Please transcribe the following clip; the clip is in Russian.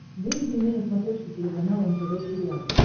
выведи мне на смотрешке телеканал нтв сериал